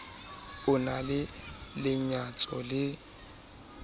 o na le lenyatso le